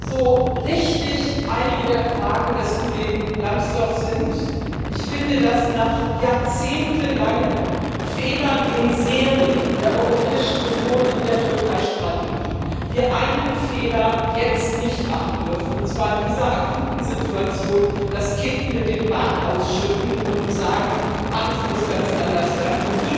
So richtig einige der Fragen des Kollegen Lambsdorff sind, dürfen wir nach jahrzehntelangen Fehlern der Europäischen Union in Serie in der Türkeistrategie einen Fehler jetzt nicht machen, und zwar in dieser akuten Situation das Kind mit dem Bad ausschütten und sagen Alles muss ganz anders werden.